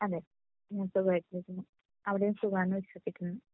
അതെ സുഖമായിട്ടിരിക്കുന്നു. അവിടെയും സുഖം ആണ് എന്നു വിശ്വസിക്കുന്നു .